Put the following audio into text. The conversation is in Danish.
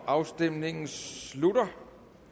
afstemningen slutter